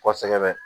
Kɔsɛbɛ